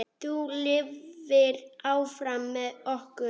Þú lifir áfram með okkur.